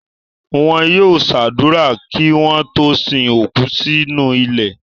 Wọn yóò ṣàdúrà kí wọ́n tó sin òkú sínú ilẹ̀.